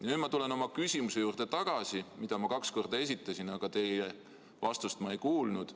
Nüüd ma tulen tagasi oma küsimuse juurde, mille ma kaks korda esitasin, aga teie vastust ma ei kuulnud.